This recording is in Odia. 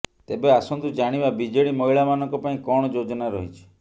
ତେବେ ଆସନ୍ତୁ ଜାଣିବା ବିଜେଡି ମହିଳା ମାନଙ୍କ ପାଇଁ କଣ ଯୋଜନା ରହିଛି